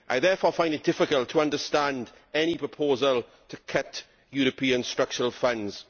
I therefore find it difficult to understand any proposal to cut European structural funds.